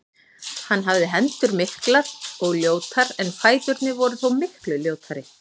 Hann hafði hendur miklar og ljótar en fæturnir voru þó miklu ljótari.